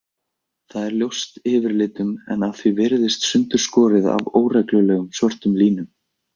Það er ljóst yfirlitum en að því er virðist sundurskorið af óreglulegum, svörtum línum.